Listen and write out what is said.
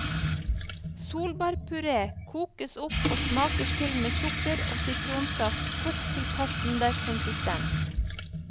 Solbærpuré kokes opp og smakes til med sukker og sitronsaft kokt til passe konsistens.